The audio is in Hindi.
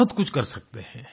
बहुत कुछ कर सकते हैं